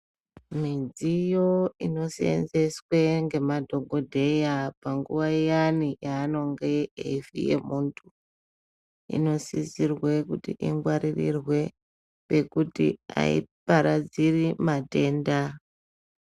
Midziyo inosenzeswa nemadhokodheya panguwa iyani panguwa yaunenge uchifuya muntu inosisirwa kuti ingwarirwe pekuti aparadzire matenda.